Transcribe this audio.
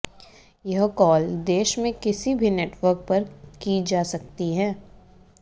यह कॉल देश में किसी भी नेटवर्क पर की जा सकती हैं